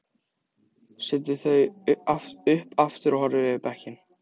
Setur þau upp aftur og horfir yfir bekkinn.